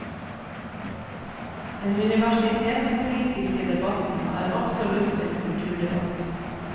Den universitetspolitiske debatten er absolutt en kulturdebatt.